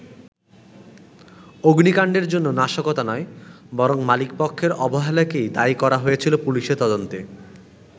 অগ্নিকাণ্ডের জন্য নাশকতা নয়, বরং মালিকপক্ষের অবহেলাকেই দায়ী করা হয়েছিল পুলিশের তদন্তে।